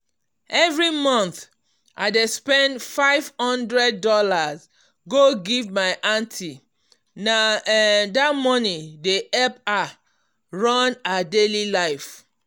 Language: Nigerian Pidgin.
every month i dey spend five hundred dollars go give my aunty na um that money dey help her run her daily life.